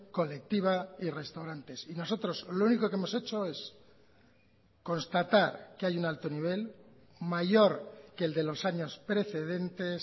colectiva y restaurantes y nosotros lo único que hemos hecho es constatar que hay un alto nivel mayor que el de los años precedentes